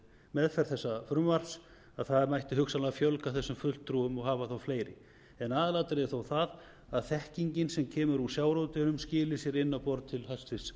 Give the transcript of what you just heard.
meðferð þessa frumvarps að það mætti hugsanlega fjölga þessum fulltrúum og hafa þá fleiri aðalatriðið er þó það að þekkingin sem kemur úr sjávarútveginum skili sér inn á borð til hæstvirts